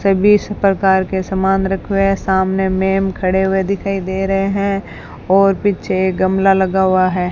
सभी प्रकार के समान रखे हुए हैं सामने मैंम खड़े हुए दिखाई दे रहे हैं और पीछे गमला लगा हुआ है